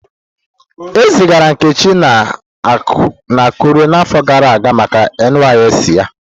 Ezigara Nkechi na Akure n'afọ gara aga maka NYSC ya.